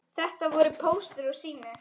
Þetta voru Póstur og Sími.